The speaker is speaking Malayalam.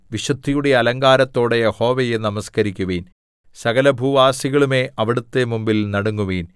വിശുദ്ധിയുടെ അലങ്കാരത്തോടെ യഹോവയെ നമസ്കരിക്കുവിൻ സകലഭൂവാസികളുമേ അവിടുത്തെ മുമ്പിൽ നടുങ്ങുവിൻ